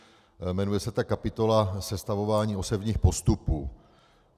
Jmenuje se ta kapitola Sestavování osevních postupů.